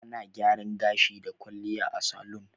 Ana gyaran gashi da kwalliya a salun.